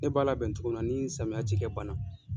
Ne b'a labɛn togo mi na ni samiya cikɛ banna.